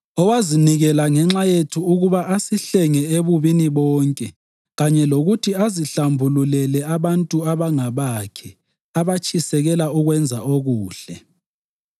owazinikela ngenxa yethu ukuba asihlenge ebubini bonke kanye lokuthi azihlambululele abantu abangabakhe, abatshisekela ukwenza okuhle.